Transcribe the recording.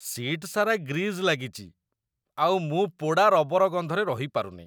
Seat ସାରା grease ଲାଗିଚି ଆଉ ମୁଁ ପୋଡ଼ା ରବର ଗନ୍ଧରେ ରହିପାରୁନି ।